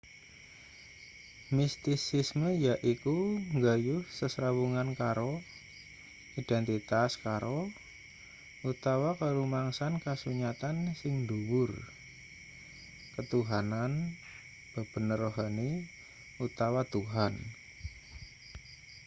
mistisisme yaiku nggayuh sesrawungan karo identitas karo utawa karumangsan kasunyatan sing dhuwur ketuhanan bebener rohani utawa tuhan